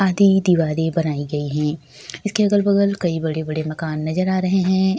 आदि दीवारें बनाई गई है इसके अगल-बगल कई बड़े-बड़े मकान नजर आ रहे हैं।